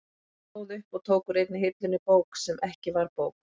Hann stóð upp og tók úr einni hillunni bók sem ekki var bók.